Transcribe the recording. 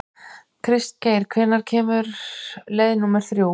Kristgeir, hvenær kemur leið númer þrjú?